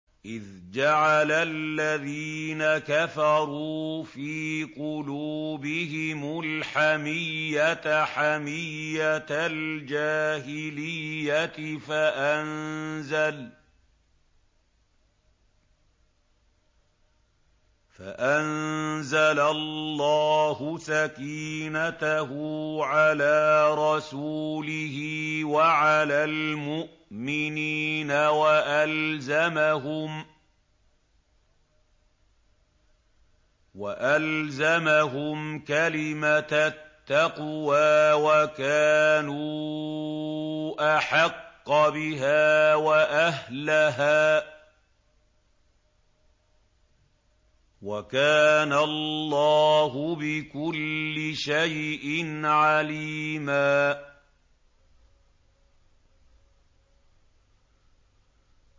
إِذْ جَعَلَ الَّذِينَ كَفَرُوا فِي قُلُوبِهِمُ الْحَمِيَّةَ حَمِيَّةَ الْجَاهِلِيَّةِ فَأَنزَلَ اللَّهُ سَكِينَتَهُ عَلَىٰ رَسُولِهِ وَعَلَى الْمُؤْمِنِينَ وَأَلْزَمَهُمْ كَلِمَةَ التَّقْوَىٰ وَكَانُوا أَحَقَّ بِهَا وَأَهْلَهَا ۚ وَكَانَ اللَّهُ بِكُلِّ شَيْءٍ عَلِيمًا